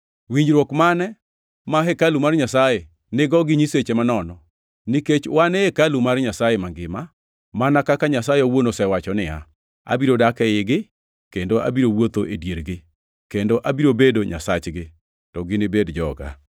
Winjruok mane ma hekalu mar Nyasaye nigo gi nyiseche manono? Nikech wan e hekalu mar Nyasaye mangima! Mana kaka Nyasaye owuon osewacho niya: “Abiro dak eigi kendo abiro wuotho e diergi, kendo abiro bedo Nyasachgi to ginibed joga.” + 6:16 \+xt Lawi 26:12; Jer 32:38; Eze 37:27\+xt*